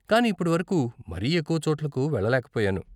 కానీ ఇప్పటి వరకు మరీ ఎక్కువ చోట్లకు వెళ్ళలేక పోయాను.